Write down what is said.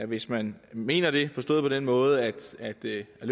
hvis man mener det forstået på den måde at det at